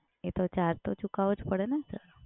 એ તો ચાર્જ તો ચૂકવવો જ પડે ને સર?